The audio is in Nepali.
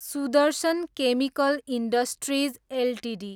Sudarshan chemical industries Ltd